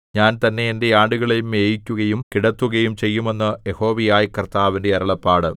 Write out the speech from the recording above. ഞാൻ തന്നെ എന്റെ ആടുകളെ മേയിക്കുകയും കിടത്തുകയും ചെയ്യും എന്ന് യഹോവയായ കർത്താവിന്റെ അരുളപ്പാട്